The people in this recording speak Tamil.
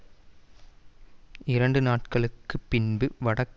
இரண்டு நாட்களுக்கு பின்பு வடக்கு நகரமான இர்பிலில்